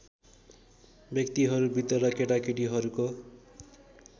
व्यक्तिहरू बृद्ध र केटाकेटीहरूको